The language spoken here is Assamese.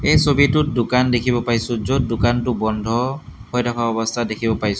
এই ছবিটোত দোকান দেখিব পাইছোঁ য'ত দোকানটো বন্ধ হৈ থকা অৱস্থাত দেখিব পাইছোঁ।